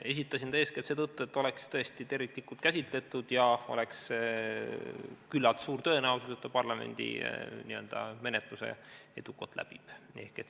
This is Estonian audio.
Esitasin ta eeskätt seetõttu, et see oleks tõesti terviklik käsitlus ja oleks küllalt suur tõenäosus, et ta parlamendi menetluse edukalt läbib.